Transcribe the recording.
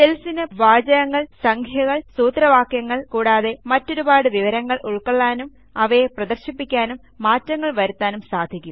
സെൽസിനു പാഠം സംഖ്യകൾ സൂത്രവാക്യങ്ങൾ കൂടാതെ മറ്റൊരുപാട് വിവരങ്ങളും ഉൾക്കൊള്ളാനും അവയെ പ്രദർശിപ്പിക്കാനും മാറ്റങ്ങൾ വരുത്താനും സാധിക്കും